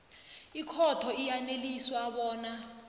ikhotho iyaneliswa bona